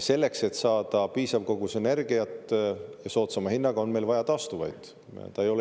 Selleks, et saada piisav kogus energiat soodsama hinnaga, on meil vaja taastuvaid.